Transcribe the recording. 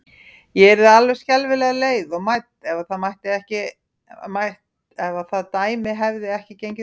Ég yrði alveg skelfilega leið og mædd, ef það dæmi hefði ekki gengið upp.